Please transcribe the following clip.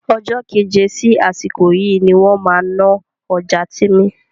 Ọjọ́ keje sí àsìkò yìí ni wọ́n máa náà ọjà Tìmì